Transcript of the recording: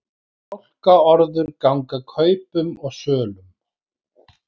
Fálkaorður ganga kaupum og sölum